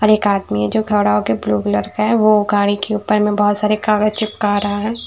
और एक आदमी है जो खड़े हो के ब्लू व्हीलर पे है वो गाड़ी के ऊपर में बहुत सारे चित्र चिपका रहा है।